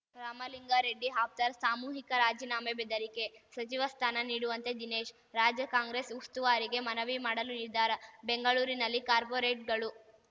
ರಾಮಲಿಂಗಾರೆಡ್ಡಿ ಆಪ್ತರ ಸಾಮೂಹಿಕ ರಾಜೀನಾಮೆ ಬೆದರಿಕೆ ಸಚಿವ ಸ್ಥಾನ ನೀಡುವಂತೆ ದಿನೇಶ್‌ ರಾಜ್ಯ ಕಾಂಗ್ರೆಸ್‌ ಉಸ್ತುವಾರಿಗೆ ಮನವಿ ಮಾಡಲು ನಿರ್ಧಾರ ಬೆಂಗಳೂರಿನಲ್ಲಿ ಕಾರ್ಪೊರೇಟ್ ಗಳು